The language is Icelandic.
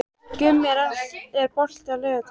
Gummi, er bolti á laugardaginn?